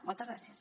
moltes gràcies